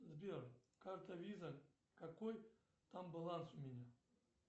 сбер карта виза какой там баланс у меня